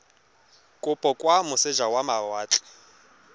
kopo kwa moseja wa mawatle